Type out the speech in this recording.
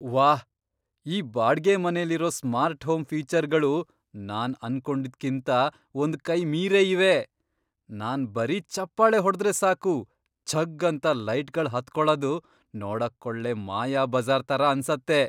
ವಾಹ್! ಈ ಬಾಡ್ಗೆಮನೆಲಿರೋ ಸ್ಮಾರ್ಟ್ ಹೋಮ್ ಫೀಚರ್ಗಳು ನಾನ್ ಅನ್ಕೊಂಡಿದ್ಕಿಂತ ಒಂದ್ ಕೈ ಮೀರೇ ಇವೆ. ನಾನ್ ಬರೀ ಚಪ್ಪಾಳೆ ಹೊಡ್ದ್ರೆ ಸಾಕು, ಝಗ್ಗ್ ಅಂತ ಲೈಟ್ಗಳ್ ಹತ್ಕೊಳದ್ ನೋಡಕ್ಕೊಳ್ಳೆ ಮಾಯಾಬಜಾ಼ರ್ ಥರ ಅನ್ಸತ್ತೆ!